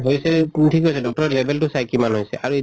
হৈছে ঠিক আছে doctor য়ে level তো চায় কিমান হৈছে আৰু